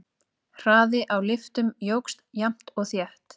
Hraði á lyftum jókst jafnt og þétt.